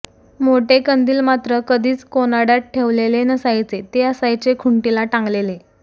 मोठे कंदील मात्र कधीच कोनाड्यात ठेवलेले नसायचे ते असायचे खुंटीला टांगलेले